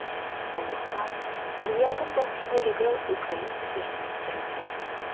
сондықтан сериалдың басым бөлігі украина жерінде түсірілген